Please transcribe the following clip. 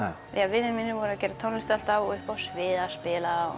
vinir mínir voru að gera tónlist alltaf og uppi á sviði að spila